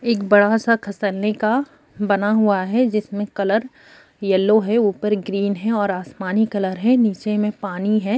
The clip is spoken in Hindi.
एक बड़ा सा का बना हुआ है जिसमें कलर येलो है ऊपर ग्रीन है और आसमानी कलर है नीचे में पानी है।